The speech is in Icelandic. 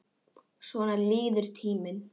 Svona líður tíminn.